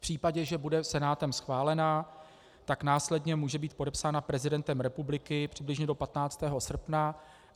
V případě, že bude Senátem schválena, tak následně může být podepsána prezidentem republiky přibližně do 15. srpna.